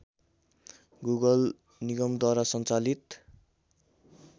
Google निगमद्वारा सञ्चालित